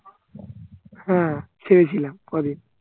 হ্যাঁ ছেড়েছিলাম কদিন